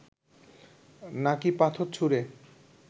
নাকি পাথর ছুঁড়ে